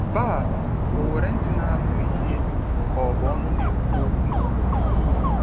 Baal onwere ntị na anụ ihe ka ọ bụ ọnụ na ekwu okwu?